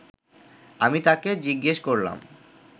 আমি তাকে জিজ্ঞেস করলাম